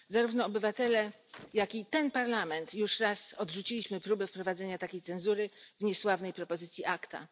Zarówno obywatele, jak i ten Parlament już raz odrzucili próbę wprowadzenia takiej cenzury w niesławnej propozycji ACTA.